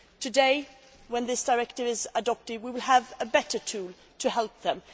Today, when this directive is adopted, we will have a better tool to help them.